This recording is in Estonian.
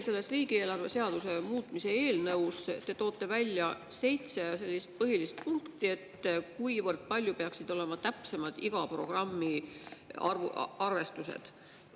Selles riigieelarve seaduse muutmise eelnõus te toote välja seitse põhilist punkti, kui palju täpsemad peaksid olema iga programmi arvestused.